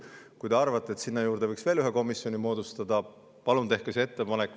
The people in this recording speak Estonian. Kui te arvate, et sinna juurde võiks veel ühe komisjoni moodustada, palun tehke see ettepanek.